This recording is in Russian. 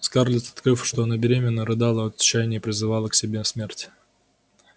скарлетт открыв что она беременна рыдала от отчаяния и призывала к себе смерть